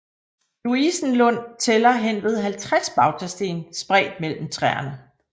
Louisenlund tæller henved 50 bautasten spredt mellem træerne